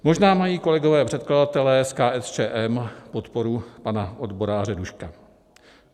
Možná mají kolegové předkladatelé z KSČM podporu pana odboráře Duška.